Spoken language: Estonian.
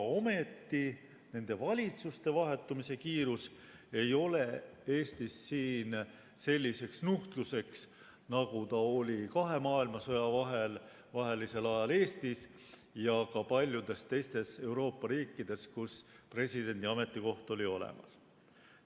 Ometi nende valitsuste vahetumise kiirus ei ole Eestis selliseks nuhtluseks, nagu ta oli kahe maailmasõja vahelisel ajal Eestis ja ka paljudes teistes Euroopa riikides, kus presidendi ametikoht oli olemas.